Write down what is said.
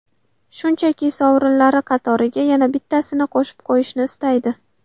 Shunchaki, sovrinlari qatoriga yana bittasini qo‘shib qo‘yishni istaydi.